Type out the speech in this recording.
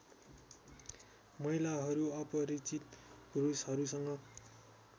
महिलाहरू अपरिचित पुरुषहरूसँग